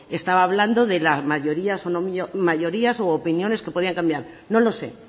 estaba hablando sobre mayorías u opiniones que podían cambiar no lo sé